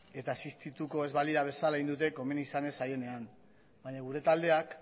eta existituko ez balira bezala egin dute komeni izan ez zaienean baina gure taldeak